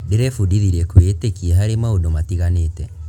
Ndĩrebundithirie kwĩĩtĩkia harĩ maundũ matiganĩte.